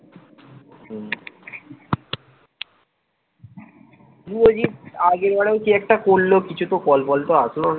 শুভজিৎ আগে বরং কি একটা করল কিছুই তো call পল তো আসলো না